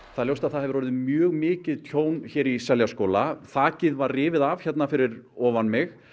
það er ljóst að það hefur orðið mjög mikið tjón hér í Seljaskóla þakið var rifið af hérna fyrir ofan mig